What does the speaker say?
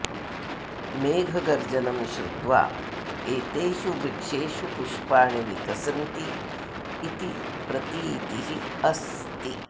मेघगर्जनं श्रुत्वा एतेषु वृक्षेषु पुष्पाणि विकसन्ति इति प्रतीतिः अस्ति